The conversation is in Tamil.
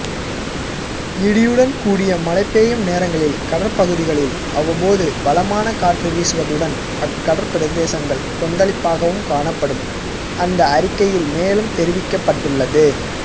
இடியுடன் கூடிய மழை பெய்யும் நேரங்களில் கடற்பகுதிகளில் அவ்வப்போது பலமான காற்று வீசுவதுடன் அக்கடற்பிரதேசங்கள்கொந்தளிப்பாகவும்காணப்படும் அந்த அறிக்கையில் மேலும் தெரிவிக்கப்பட்டுள்ளது